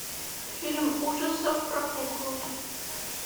фильм ужасов про куклу